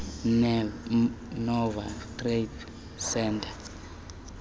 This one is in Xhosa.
nova treatment centre